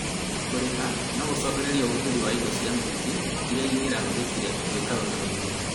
Kũrĩha nogũcũngĩrĩrie ũhũthĩri wa indo cia mũingĩ iria cingĩrahũthĩkire gwĩka ũndũ ũngĩ